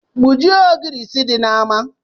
Gbujie ogirisi di n’ama